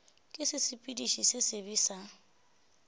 ke sesepediši se sebe sa